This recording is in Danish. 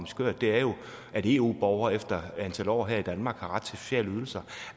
skørt er jo at eu borgere efter et antal år her i danmark har ret til sociale ydelser